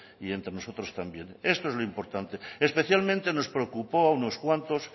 y entre nosotros también esto es lo importante especialmente nos preocupó a unos cuantos